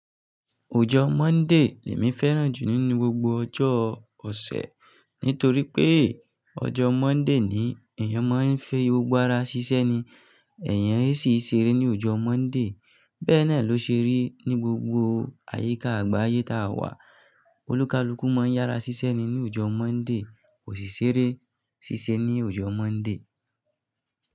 Ọjọ Monday ni èmi féràn jù nínú gbogbo ọjọ ọ̀sẹ̀, nítorí pé ọjọ Monday ni èèyàn máa ń fẹi gbogbo ará ṣiṣẹ́ ni, èèyàn sì ń ṣeré ní ọjọ Monday. Bẹ́ẹ̀ no lọ ṣe rí ní gbogbo àyíká àgbáyé tí a wà. Olúkalúkú máa ń yára ṣiṣẹ́ ni ní ọjọ Monday, kosi seré sì ṣe ní ọjọ Monday.